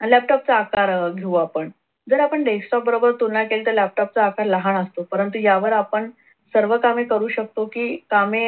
आणि laptop चा आकार अह घेऊ आपण जर आपण desktop बरोबर तुलना केली तर laptop चा आकार लहान असतो परंतु यावर आपण सर्वकामे करू शकतो की कामे